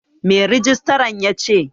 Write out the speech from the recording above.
Me rijistran yace?